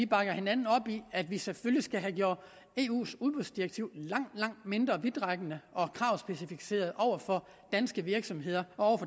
bakker hinanden op i at vi selvfølgelig skal have gjort eus udbudsdirektiv langt langt mindre vidtrækkende og kravspecificeret over for danske virksomheder og